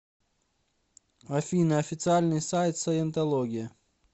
афина официальный сайт саентология